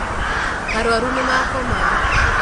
Arwaru nĩmakoma.